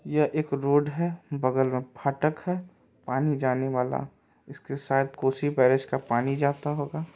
यह एक रोड है बगल मे फाटक है पानी जाने वाला इसके साथ कोशी पैलेस का पानी जाता होगा।